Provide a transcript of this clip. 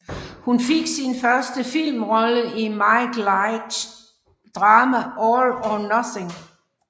Hun fik sin første filmrolle i Mike Leighs drama All or Nothing